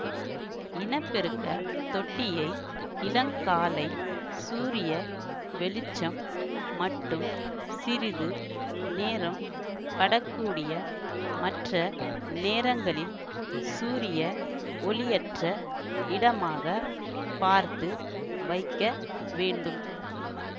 இன பெருக்க தொட்டியை இளங்காலை சூரிய வெளிச்சம் மட்டும் சிறிது நேரம் படக்கூடிய மற்ற நேரங்களில் சூரிய ஒளியற்ற இடமாக பார்த்து வைக்க வேண்டும்